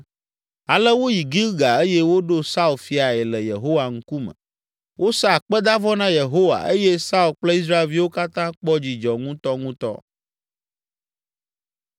Ale woyi Gilgal eye woɖo Saul fiae le Yehowa ŋkume. Wosa akpedavɔ na Yehowa eye Saul kple Israelviwo katã kpɔ dzidzɔ ŋutɔŋutɔ.